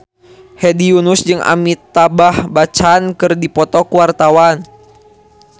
Hedi Yunus jeung Amitabh Bachchan keur dipoto ku wartawan